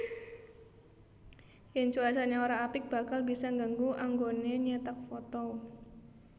Yen cuacane ora apik bakal bisa nggangu anggone nyetak foto